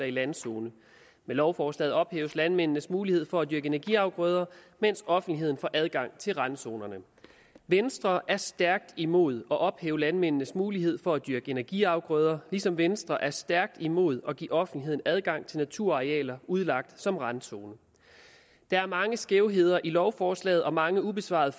i landzone med lovforslaget ophæves landmændenes mulighed for at dyrke energiafgrøder mens offentligheden får adgang til randzonerne venstre er stærkt imod at ophæve landmændenes mulighed for at dyrke energiafgrøder ligesom venstre er stærkt imod at give offentligheden adgang til naturarealer udlagt som randzoner der er mange skævheder i lovforslaget og mange ubesvarede